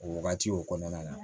O wagati o kɔnɔna na